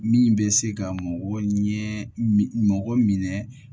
Min bɛ se ka mɔgɔ ɲɛ mɔgɔ minɛ